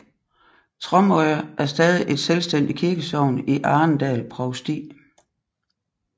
Tromøya er stadig et selvstændigt kirkesogn i Arendal provsti